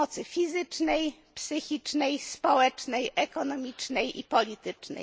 przemocy fizycznej, psychicznej, społecznej, ekonomicznej i politycznej.